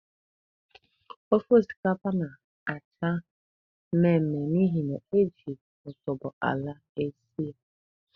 Ofe osikapa na-acha mmemme n'ihi na e ji otubo ala esi ya.